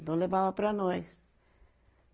Então, levava para nós.